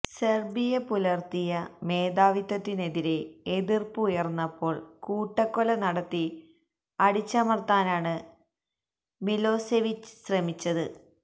Serbia പുലര്ത്തിയ മേധാവിത്വത്തിനെതിരെ എതിര്പ്പ് ഉയര്ന്നപ്പോള് കൂട്ടക്കൊല നടത്തി അടിച്ചമര്ത്താനാണ് മിലോസെവിച്ച് ശ്രമിച്ചത്